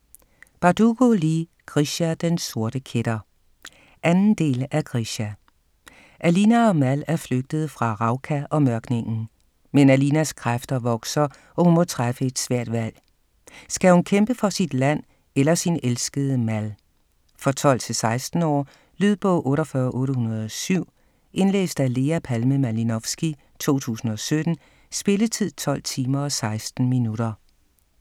Bardugo, Leigh: Grisha - den sorte kætter 2. del af Grisha. Alina og Mal er flygtet fra Ravka og Mørkningen. Men Alinas kræfter vokser, og hun må træffe et svært valg. Skal hun kæmpe for sit land sit land eller sin elskede Mal? For 12-16 år. Lydbog 48807 Indlæst af Lea Palme Malinovsky, 2017. Spilletid: 12 timer, 16 minutter.